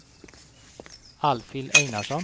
Alfhild Einarsson